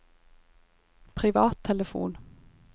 privattelefon